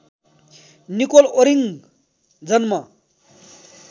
Nicol Oring जन्म